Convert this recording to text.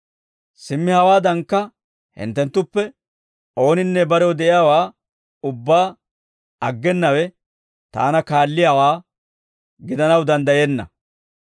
Simmi hawaadankka hinttenttuppe ooninne barew de'iyaawaa ubbaa aggenawe, taana kaalliyaawaa gidanaw danddayenna.